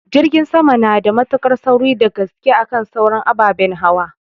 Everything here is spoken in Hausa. Jirgin sama nada mutuƙar sauri dagaske akan sauran ababen hauwa